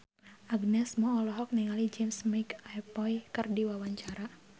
Agnes Mo olohok ningali James McAvoy keur diwawancara